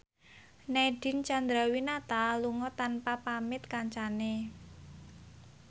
Nadine Chandrawinata lunga tanpa pamit kancane